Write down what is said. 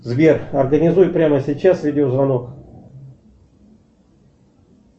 сбер организуй прямо сейчас видеозвонок